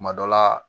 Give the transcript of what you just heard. Kuma dɔ la